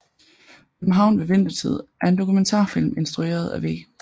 København ved Vintertid er en dokumentarfilm instrueret af V